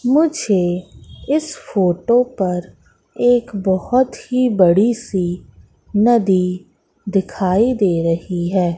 मुझे इस फोटो पर एक बहुत ही बड़ी सी नदी दिखाई दे रही है।